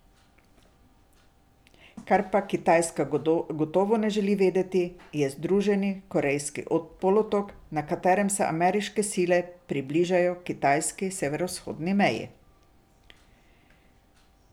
Kar pa Kitajska gotovo ne želi videti, je združen Korejski polotok, na katerem se ameriške sile približajo kitajski severovzhodni meji.